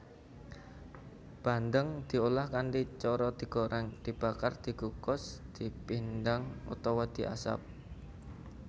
Bandeng diolah kanthi cara digorèng dibakar dikukus dipindang utawa diasap